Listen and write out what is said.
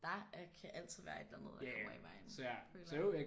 Der er kan altid være et eller andet der kommer i vejen føler jeg